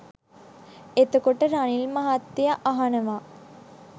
එතකොට රනිල් මහත්තයා අහනවා